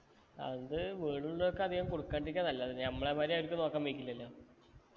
അത് വീട്ടിലുള്ളവർക്ക് അധികം കൊടുക്കാണ്ട്രിക്കെ നല്ലത് നമ്മളെ മാതിരി അവരിക്ക് നോക്കാൻ വൈക്കില്ലലോ